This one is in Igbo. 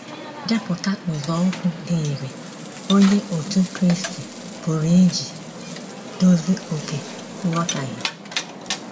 Depụta nzọụkwụ dị irè Onye Otú Kristi pụrụ iji dozi oke nghọtahie.